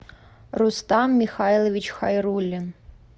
рустам михайлович хайрулин